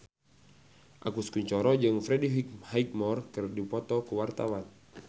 Agus Kuncoro jeung Freddie Highmore keur dipoto ku wartawan